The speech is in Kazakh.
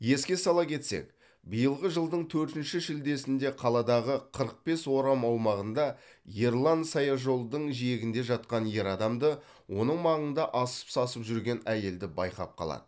еске сала кетсек биылғы жылдың төртінші шілдесінде қаладағы қырық бес орам аумағында ерлан саяжолдың жиегінде жатқан ер адамды оның маңында асып сасып жүрген әйелді байқап қалады